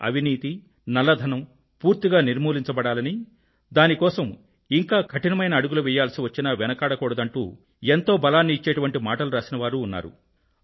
అవినీతి నల్లధనం పూర్తిగా నిర్మూలించబడాలని దాని కోసం ఇంకా కఠినమైన అడుగులు వెయ్యాల్సి వచ్చినా వెనుకాడకూడదంటూ ఎంతో బలాన్ని ఇచ్చేటువంటి మాటలు రాసిన వారు ఉన్నారు